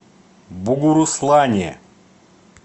бугуруслане